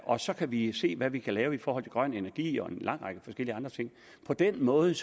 og så kan vi se hvad vi kan lave i forhold til grøn energi og en lang række forskellige andre ting på den måde